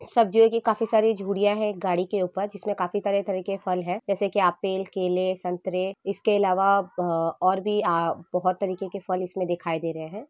सब्जिओ की काफी सारी झुडिया है गाड़ी के ऊपर जिसमे काफी तरह-तरह के फल है जैसे के एप्पल केलेसंतरे इसके अलावा अ-और भी आ बोहोत तरीके के फल इसमें दिखाई दे रहे हैं।